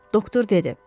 Doktor dedi.